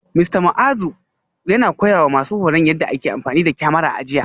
Mista Muazu yana koyawa masu horon yadda ake amfani da kyamara a jiya